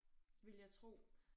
Ville jeg tro